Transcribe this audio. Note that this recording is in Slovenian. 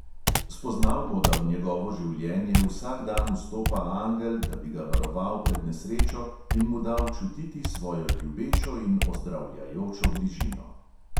Spoznal bo, da v njegovo življenje vsak dan vstopa angel, da bi ga varoval pred nesrečo in mu dal čutiti svojo ljubečo in ozdravljajočo bližino.